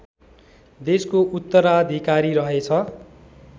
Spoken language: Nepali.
देशको उत्तराधिकारी रहेछ